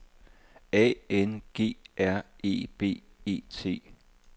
A N G R E B E T